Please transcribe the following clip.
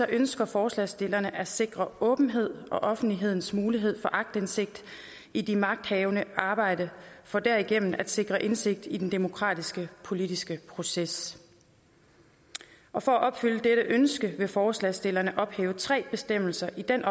ønsker forslagsstillerne at sikre åbenhed og offentlighedens mulighed for aktindsigt i magthavernes arbejde for derigennem at sikre indsigt i den demokratiske politiske proces og for at opfylde dette ønske vil forslagsstillerne ophæve tre bestemmelser i den